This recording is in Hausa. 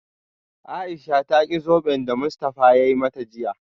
Aisha ta ki zoben da Mustafa ya mata jiya